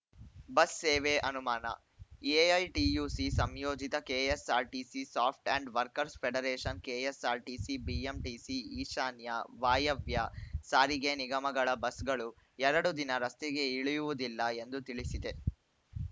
bus ಸೇವೆ ಅನುಮಾನ AITUC ಸಂಯೋಜಿತ ಕೆಎಸ್‌ಆರ್‌ಟಿಸಿ ಸ್ವಾಫ್ಟ್ and workers federation KSRTC BMTC ಈಶಾನ್ಯ ವಾಯವ್ಯ ಸಾರಿಗೆ ನಿಗಮಗಳ ಬಸ್‌ಗಳು ಎರಡೂ ದಿನ ರಸ್ತೆಗೆ ಇಳಿಯುವುದಿಲ್ಲ ಎಂದು ತಿಳಿಸಿದೆ